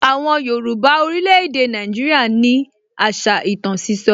Àwọn Yorùbá orílè èdè Nàìjíríà ní àṣà ìtàn sísọ